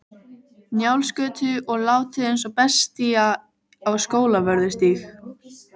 Njálsgötu og látið eins og bestía á Skólavörðustíg.